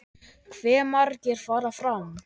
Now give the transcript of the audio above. Hve margir fara fram?